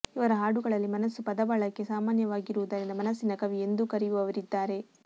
ಇವರ ಹಾಡುಗಳಲ್ಲಿ ಮನಸ್ಸು ಪದಬಳಕೆ ಸಾಮಾನ್ಯವಾಗಿರುವುದರಿಂದ ಮನಸ್ಸಿನ ಕವಿ ಎಂದೂ ಕರೆಯುವವರಿದ್ದಾರೆ